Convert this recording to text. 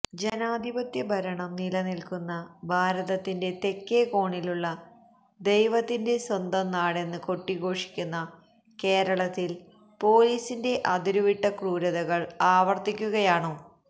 ജനാധിപത്യ ഭരണം നിലനില്ക്കുന്ന ഭാരത്തിന്റെ തേക്കേ കോണിലുള്ള ദൈവത്തിന്റെ സ്വന്തം നാടെന്ന് കൊട്ടിഘോഷിക്കുന്ന കേരളത്തില് പോലീസിന്റെ അതിരുവിട്ട ക്രൂരതകള് ആവര്ത്തിക്കുകയാണോ